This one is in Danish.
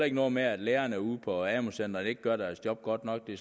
ikke noget med at lærerne ude på amu centrene ikke gør deres job godt nok det